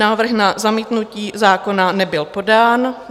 návrh na zamítnutí zákona nebyl podán;